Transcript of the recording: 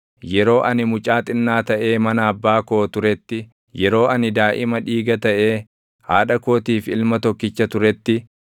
Yeroo ani mucaa xinnaa taʼee mana abbaa koo turetti, yeroo ani daaʼima dhiiga taʼee haadha kootiif ilma tokkicha turetti,